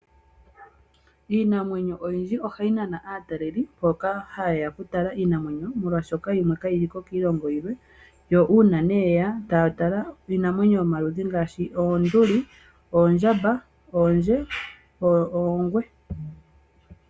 Iinamwenyo oyindji ohayi nana aatalelipo, mboka ha yeya oku tala iinamwenyo molwaashoka yimwe ka yi li ko kiilongo yilwe. Yo uuna nee yeya, taya tala iinamwenyo yomaludhi ngaashi oonduli, oondjamba, oondje ,oongwe.